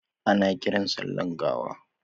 Ana kiran sa sallan gawa